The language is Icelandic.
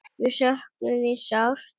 Við söknum þín sárt.